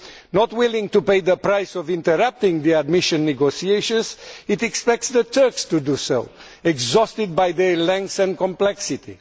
Not willing to pay the price of interrupting the admission negotiations, it expects the Turks to do so, exhausted by their length and complexity.